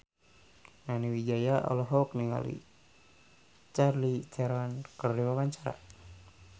Nani Wijaya olohok ningali Charlize Theron keur diwawancara